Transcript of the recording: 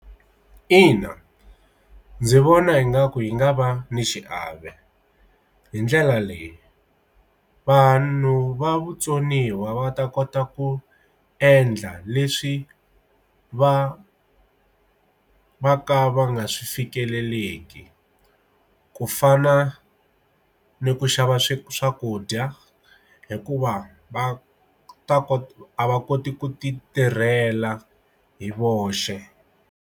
Ina ndzi vona yi nga ku yi nga va ni xiave hi ndlela leyi vanhu va vutsoniwa va ta kota ku endla leswi va va ka va nga swi fikeleleki ku fana ni ku xava swakudya hikuva va ta ku a va koti ku ti tirhela hi voxe.